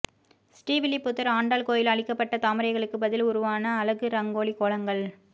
ஸ்ரீவில்லிபுத்தூர் ஆண்டாள் கோயில் அழிக்கப்பட்ட தாமரைகளுக்கு பதில் உருவான அழகு ரங்கோலி கோலங்கள்